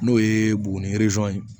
N'o ye buguni ye